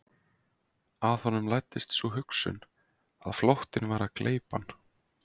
Að honum læddist sú hugsun að flóttinn væri að gleypa hann.